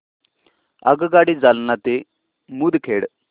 आगगाडी जालना ते मुदखेड